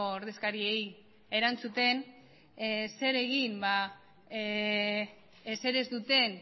ordezkariei erantzuten zer egin ezer ez duten